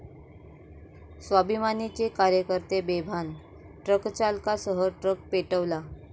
स्वाभिमानी'चे कार्यकर्ते बेभान, ट्रकचालकासह ट्रक पेटवला